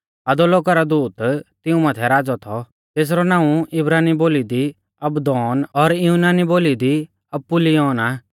अधोलोका रौ दूत तिऊं माथै राज़ौ थौ तेसरौ नाऊं इब्रानी बोली दी अबद्दोन और युनानी बोली दी अपुल्लयोन आ